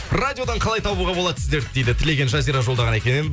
радиодан қалай табуға болады сіздерді дейді тілеген жазира жолдаған екен